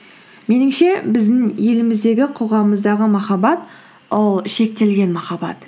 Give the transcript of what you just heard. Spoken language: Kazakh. меніңше біздің еліміздегі қоғамымыздағы махаббат ол шектелген махаббат